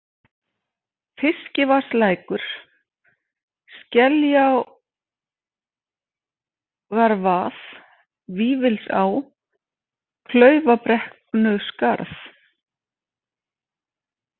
Fiskivatnslækur, Skeljalágarvað, Vífilsá, Klaufabrekknuskarð